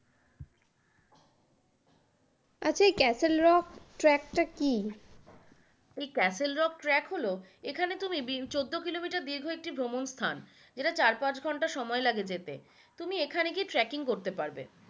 আচ্ছা এই castle rock track টা কী?